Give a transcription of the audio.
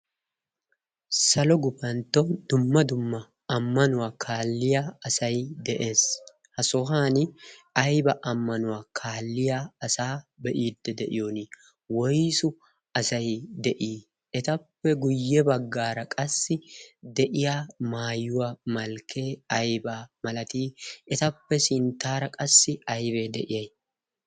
salo gufantto dumma dumma ammanuwaa kaalliya asay de'ees ha sohan ayba ammanuwaa kaalliya asaa be'iidde de'iyon woiysu asay de'ii etappe guyye baggaara qassi de'iya maayuwaa malkkee ayba malatii etappe sinttaara qassi aybee de'iya